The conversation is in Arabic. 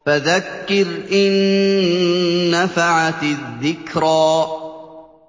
فَذَكِّرْ إِن نَّفَعَتِ الذِّكْرَىٰ